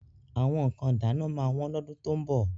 Àwọn nǹkan ìdáná máa wọ́n lọ́dún tó ń bọ̀.